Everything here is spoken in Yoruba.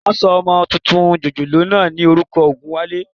Wọ́n sọ ọmọ tuntun jòjòló náà ní orúkọ Ògúnwálé